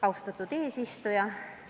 Austatud eesistuja!